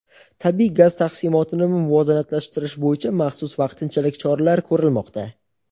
tabiiy gaz taqsimotini muvozanatlashtirish bo‘yicha maxsus vaqtinchalik choralar ko‘rilmoqda.